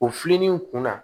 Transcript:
O filinen in kunna